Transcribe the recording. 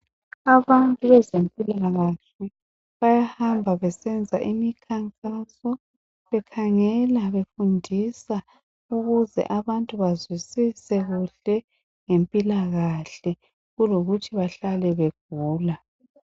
Abantu bezempilakahle bayahamba besenza imikhankaso bekhangela befundisa, ukuze abantu bazwisise kuhle ngempilakahle kulokuthi bahlale begula.